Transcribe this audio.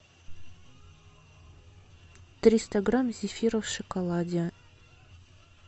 триста грамм зефира в шоколаде